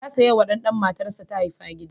Ya saya wa ɗan da matarsa ta haifa gida.